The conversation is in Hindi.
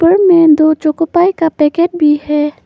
ऊपर में दो चोको पाई का पैकेट भी है।